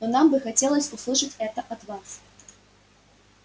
но нам бы хотелось услышать это от вас